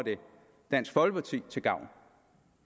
dansk folkeparti til gavn